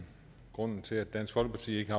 grunden til at dansk folkeparti ikke